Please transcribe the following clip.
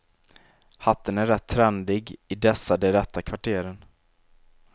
Hatten är rätt trendig i dessa de rätta kvarteren.